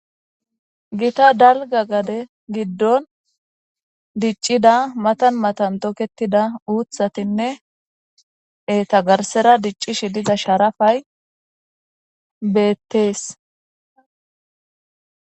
Gita dalga gade gidon dic'ida matan matan toketida uthatinne eeta garsara dic'ishe diza sharapay beetes.